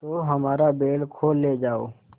तो हमारा बैल खोल ले जाओ